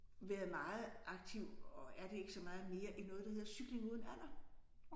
Været meget aktiv og er det ikke så meget mere i noget der hedder cykling uden alder